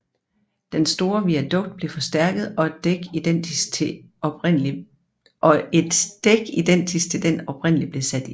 Den store viadukt blev forstærket og et dæk identisk til den oprindelige blev sat ind